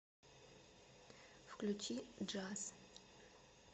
включи джаз